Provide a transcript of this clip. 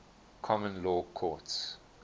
common law courts